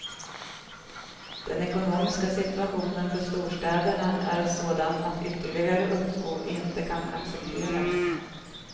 Den ekonomiska situationen för storstäderna är sådan att ytterligare uppskov inte kan accepteras.